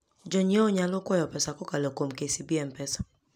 Jonyiewo nyalo kwayo pesa kokalo kuom KCB M-Pesa.